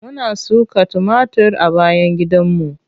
Muna suka tumatir a bayan gidanmu.